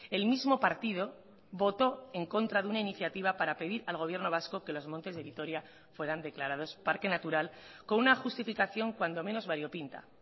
el mismo partido votó en contra de una iniciativa para pedir al gobierno vasco que los montes de vitoria fueran declarados parque natural con una justificación cuando menos variopinta